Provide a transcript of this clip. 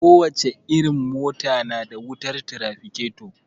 Ko wace irin mota na da wutar tirafiketo